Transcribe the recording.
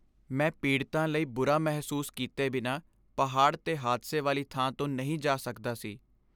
ਮੈਂ ਪੀੜਤਾਂ ਲਈ ਬੁਰਾ ਮਹਿਸੂਸ ਕੀਤੇ ਬਿਨਾਂ ਪਹਾੜ 'ਤੇ ਹਾਦਸੇ ਵਾਲੀ ਥਾਂ ਤੋਂ ਨਹੀਂ ਜਾ ਸਕਦਾ ਸੀ।